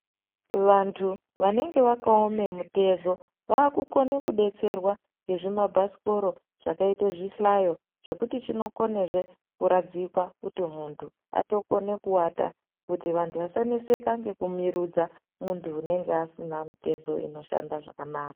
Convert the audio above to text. Vantu vanenge vakaome mutezo vakukone kudetserwa ngezvimabhasikoro zvakaite zvihlayo zvekuti chinokone zve kuradzikwa kuti muntu atokone kuwata kuti vantu vasaneseka ngekumirudza muntu unenge asina mitezo inoshanda zvakanaka.